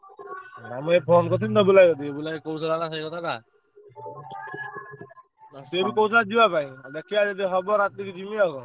ନା ମୁଁ ଏବେ phone କରିଥିଲି ତ ବୁଲା ଭାଇ କତିକି ବୁଲା ଭାଇ କହୁଥେଲା ନା ସେଇ କଥା ତା। ସେ ବି କହୁଥିଲା ଯିବା ପାଇଁ ଦେଖିଆ ଯଦି ହବ ରାତିକି ଯିବି ଆଉ।